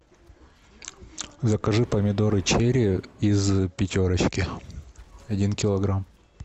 закажи помидоры черри из пятерочки один килограмм